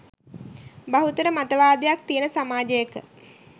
බහුතර මතවාදයක් තියෙන සමාජයක